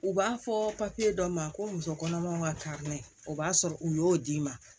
U b'a fɔ papiye dɔ ma ko muso kɔnɔmaw ka o b'a sɔrɔ u y'o d'i ma